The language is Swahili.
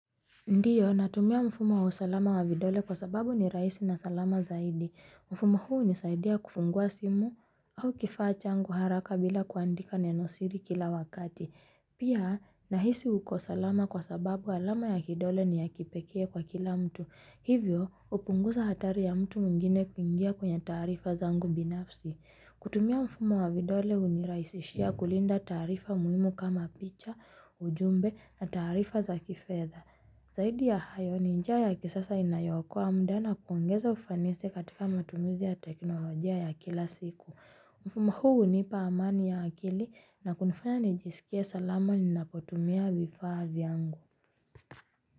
Ndiyo, natumia mfumo wa usalama wa vidole kwa sababu ni raisi na salama zaidi. Mfumo huu nisaidia kufungua simu au kifachangu haraka bila kuandika nenosiri kila wakati. Pia, nahisi uko salama kwa sababu alama ya kidole ni ya kipekee kwa kila mtu. Hivyo, upunguza hatari ya mtu mungine kuingia kwenye tarifa zangu binafsi. Kutumia mfumo wa vidole uniraisishia kulinda tarifa muhimu kama picha, ujumbe na tarifa za kifedha. Zahidi ya hayo ni njia ya kisasa inayokoa mda nakuongeza ufanisi katika matumizi ya teknolojia ya kila siku. Mfumo huu unipa amani ya akili na kunifanya nijisikie salama ni napotumia vifavi angu.